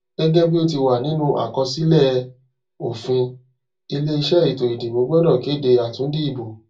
gẹgẹ bí o ti ti wà nínú àkọsílẹ òfinile iṣẹ ètò ìdìbò gbọdọ kéde àtúndì ìbò